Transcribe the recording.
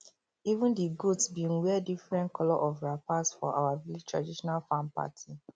even di goats bin wear different colour of wrappers for our village traditional farm party